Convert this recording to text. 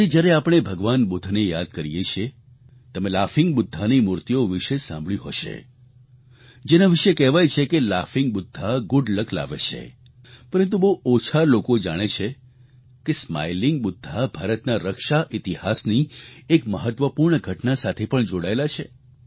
આજે જ્યારે આપણે ભગવાન બુદ્ધને યાદ કરીએ છીએ તમે લાફીંગ બુદ્ધાની મૂર્તિઓ વિશે સાંભળ્યું હશે જેના વિશે કહેવાય છે કે લાફિંગ બુદ્ધા ગુડ લક લાવે છે પરંતુ બહુ ઓછા લોકો જાણે છે કે સ્માઇલિંગ બુદ્ધ ભારતના રક્ષા ઈતિહાસની એક મહત્વપૂર્ણ ઘટના સાથે પણ જોડાયેલા છે